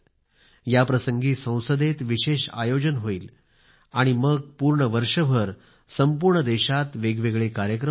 याप्रसंगी संसदेत विशेष आयोजन होईल आणि मग पूर्ण वर्षभर संपूर्ण देशात वेगवेगळे कार्यक्रम होतील